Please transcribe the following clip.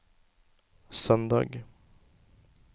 søndag